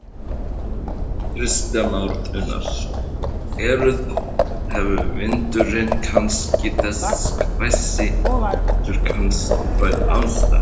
Kristján Már Unnarsson: Er, hefur vindurinn kannski, þessi hvassi vindur kannski bætt ástandið?